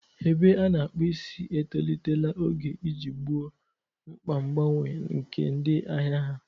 Ebe a na-akpu isi etolitela oge iji gboo mkpa mgbanwe nke ndị ahịa ha.